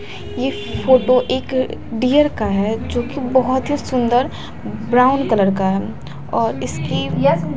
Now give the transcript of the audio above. ये फोटो एक डियर का है जो कि बहुत ही सुंदर ब्राउन कलर का है और इसकी--